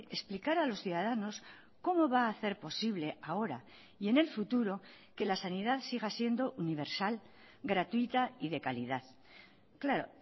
explicar a los ciudadanos cómo va a hacer posible ahora y en el futuro que la sanidad siga siendo universal gratuita y de calidad claro